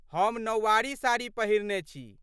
हम नौवारी साड़ी पहिरने छी।